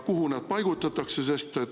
Kuhu nad paigutatakse?